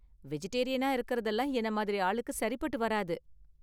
வெஜிடேரியனா இருக்கறதுலாம் என்ன மாதிரி ஆளுக்கு சரிபட்டு வராது.